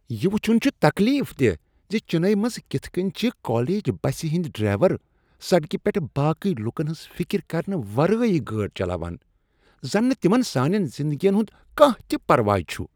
یہ وٕچھن چھ تکلیف دیہہ زِ چنئی منٛز کِتھ کٔنۍ چھ کالج بسہِ ہنٛدۍ ڈرایور سڑکہ پیٹھ باقی لوٗکن ہٕنز فکر کرنہٕ ورٲے گٲڑۍ چلاوان۔ زن نہٕ تِمن سانین زندگین ہُند کانٛہہ تہِ پرواے چُھ۔